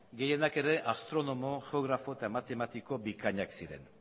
gehienak ere astronomo geografo eta matematiko bikainak ziren